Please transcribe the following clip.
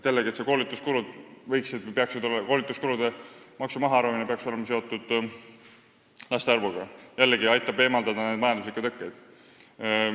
Jällegi, koolituskuludelt maksu mahaarvamine peaks olema seotud laste arvuga, mis aitaks eemaldada neid majanduslikke tõkkeid.